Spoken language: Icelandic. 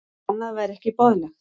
Annað væri ekki boðlegt